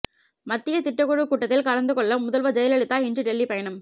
மத்திய திட்டக்குழு கூட்டத்தில் கலந்துகொள்ள முதல்வர் ஜெயலலிதா இன்று டெல்லி பயணம்